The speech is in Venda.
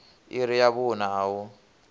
iri ya vhuṋa a hu